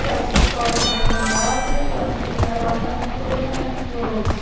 Dessa escola que era vanguarda, eu achei eu achava tudo maravilhoso.